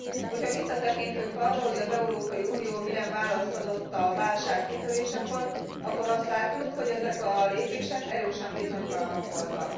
Hogyha visszatekintünk arra, hogy az Európai Unió milyen választ adott a válság kitörésekor, akkor azt látjuk, hogy ezek a lépések erősen bizonytalanok voltak.